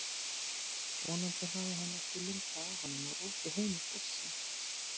Vonandi hafði hann ekki lumbrað á honum og rokið heim í fússi.